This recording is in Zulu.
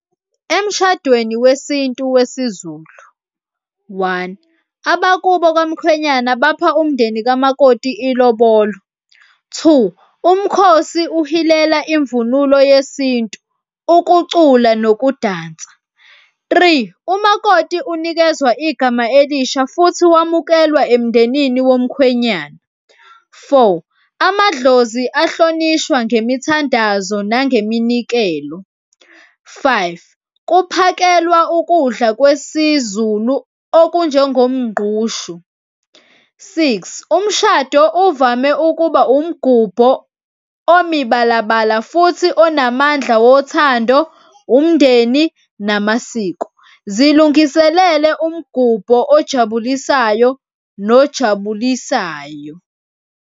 Emshadweni wesintu wesiZulu, one abakubo kwamkhwenyana bapha umndeni kamakoti ilobolo. Two, umkhosi uhilela imvunulo yesintu, ukucula nokudansa. Three, umakoti unikeza igama elisha futhi wamukelwa emndenini womkhwenyana. Four, amadlozi ahlonishwa ngemithandazo nangeminikelo. Five, kuphakelwa ukudla kwesiZulu okunjengomgqushu. Six, umshado uvame ukuba umgubho omibalabala futhi onamandla wothando, umndeni namasiko. Zilungiselele umgubho ojabulisayo nojabulisayo.